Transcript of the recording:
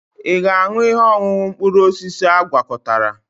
Ị ga-aṅụ ihe ọṅụṅụ mkpụrụ osisi agwakọtara?